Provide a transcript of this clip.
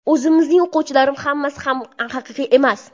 O‘zimning o‘quvchilarim hammasi ham haqiqiy emas.